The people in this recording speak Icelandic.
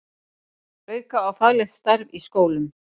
Auka á faglegt starf í skólum